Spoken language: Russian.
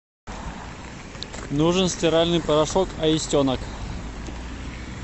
нужен стиральный порошок аистенок